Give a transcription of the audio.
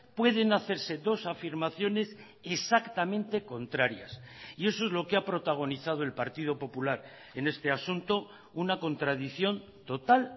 pueden hacerse dos afirmaciones exactamente contrarias y eso es lo que ha protagonizado el partido popular en este asunto una contradicción total